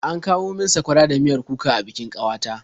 An kawo min sakwara da miyar kuka a bikin ƙawata.